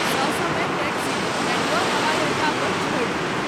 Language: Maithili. ससमय टैक्सी बैंगलोर हवाई अड्डा पर छोड़ि देलक।